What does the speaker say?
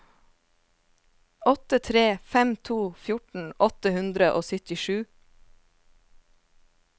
åtte tre fem to fjorten åtte hundre og syttisju